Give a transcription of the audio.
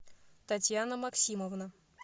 татьяна максимовна